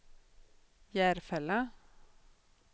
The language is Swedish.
Järfälla